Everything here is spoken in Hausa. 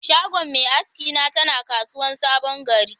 Shagon mai aski na tana kasuwan sabon gari.